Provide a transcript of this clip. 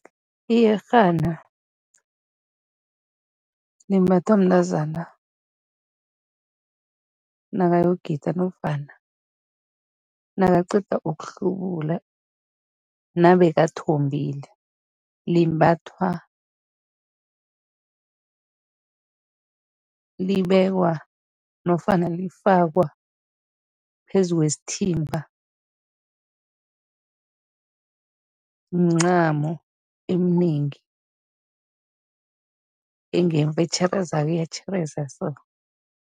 Iyerhana limbathwa mntazana nakayogida nofana nakaqeda ukuhlubula nabekathombile. Limbathwa, libekwa nofana lifakwa phezu kwesithimba, mncamo eminengi engemva, etjherezako, iyatjhereza so.